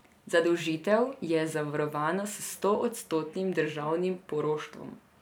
Zadolžitev je zavarovana s stoodstotnim državnim poroštvom.